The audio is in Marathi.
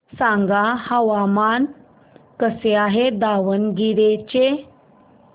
सांगा हवामान कसे आहे दावणगेरे चे